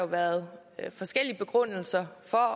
været forskellige begrundelser for